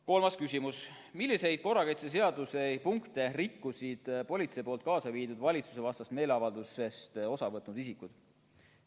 Kolmas küsimus: "Milliseid korrakaitseseaduse punkte rikkusid politsei poolt kaasa viidud valitsusvastasest meeleavaldusest osa võtnud isikud?